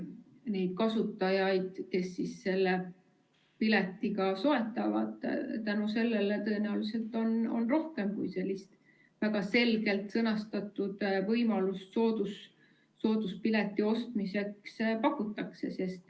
Neid kasutajaid, kes selle pileti soetavad, on tänu sellele tõenäoliselt rohkem, kui sellist väga selgelt sõnastatud võimalust sooduspileti ostmiseks pakutakse.